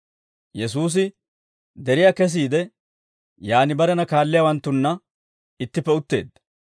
Yesuusi deriyaa kesiide, yaan barena kaalliyaawanttunna ittippe utteedda.